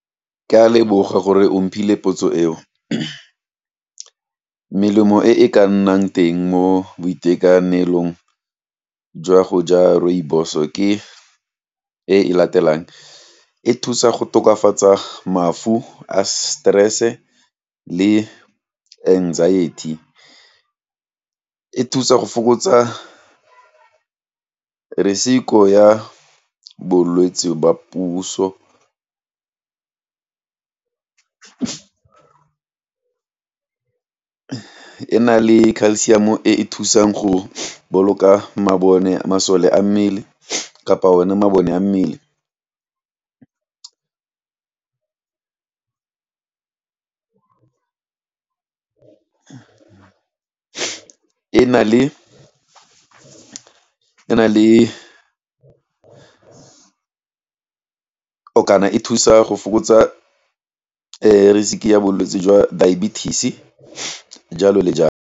Ke a leboga gore ophile potso eo, melemo e e ka nnang teng mo boitekanelong, jwa go ja rooibos-o ke e latelang, e thusa go tokafatsa mafu a stress-e, le anxiety, e thusa go fokotsa risk ya bolwetsi ba puso e na le ka calcium e e thusang go boloka masole a mmele kapa one mabone a mmele kana e thusa go fokotsa risk ya bolwetsi jwa diabetes jalo le jalo.